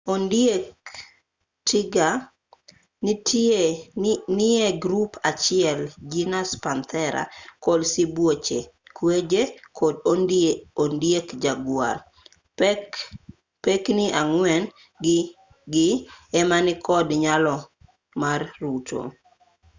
ondieg tiger nie grup achiel genus panthera kod sibuoche kweje kod ondieg jaguar. pekni ang'wen gi ema ni kod nyalo mar ruto